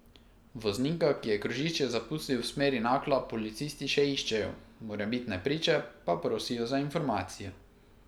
Voznika, ki je krožišče zapustil v smeri Nakla, policisti še iščejo, morebitne priče pa prosijo za informacije.